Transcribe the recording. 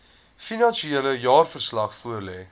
finansiële jaarverslag voorlê